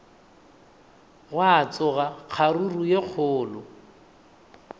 gwa tsoga kgaruru ye kgolo